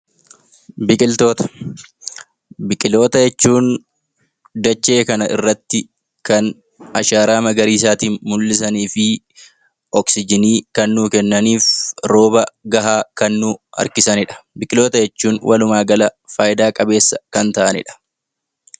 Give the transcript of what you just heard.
Biqiltoota jechuun kan dachee kana irratti ashaaraa magariisaa kan mul'isan, oksijinii kan nuu kennanii fi rooba gahaa kan nuu harkisanidha. Biqiltoota jechuun walumaa gala faayidaa qabeessa kan ta'anidha.